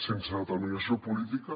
sense determinació política